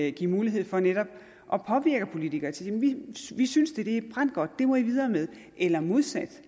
at give mulighed for netop at påvirke politikere og sige vi synes det er brandgodt det må i videre med eller ved modsat